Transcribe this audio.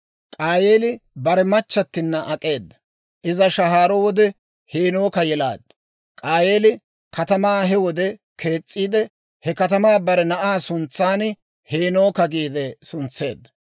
K'aayeeli bare machchattina ak'eeda; Iza shahaaro wode Heenooka yelaaddu. K'aayeeli katamaa he wode kees's'iide, he katamaa bare na'aa suntsan «Heenooka» giide suntseedda.